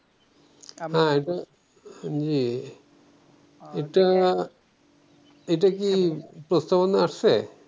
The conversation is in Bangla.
জি এটা এটাকি প্রস্তবনা আসছে?